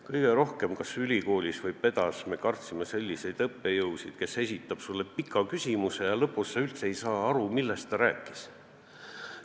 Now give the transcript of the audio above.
Kõige rohkem me pedas ehk siis praeguses ülikoolis kartsime selliseid õppejõudusid, kes esitavad sulle pika küsimuse, aga lõpuks sa üldse ei saa aru, millest nad rääkisid.